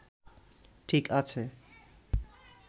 ঠিক আছে